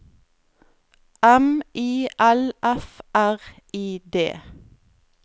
M I L F R I D